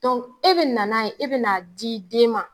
Dɔnku e bɛ na n'a ye e bɛna d dii den ma